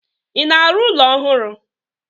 I na-arụ ụlọ ọhụrụ?